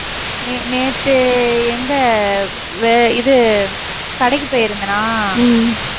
நே~ நேத்து எங்க அஹ் இது கடைக்கு போயிருந்தனா?